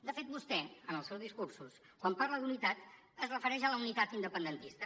de fet vostè en els seus discursos quan parla d’unitat es refereix a la unitat independentista